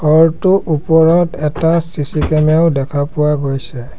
ঘৰটোৰ ওপৰত এটা চি_চি কেমেৰা দেখা পোৱা গৈছে।